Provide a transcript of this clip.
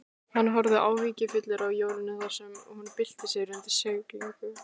Hann horfði áhyggjufullur á Jórunni þar sem hún bylti sér undir seglinu.